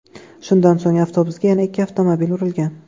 Shundan so‘ng avtobusga yana ikki avtomobil urilgan.